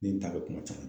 Ni n ta bɛ kuma caman